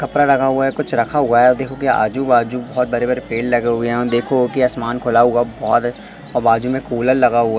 कपड़ा लगा हुआ है कुछ रखा हुआ है और देखो की आजू-बाजू बहुत बड़े-बड़े पेड़ लगे हुए यहां देखो की आसमान खुला हुआ बहुत और बाजू में कूलर लगा हुआ --